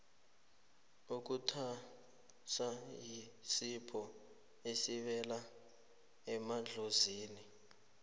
ukuthwasa yisipho esibela emadlozini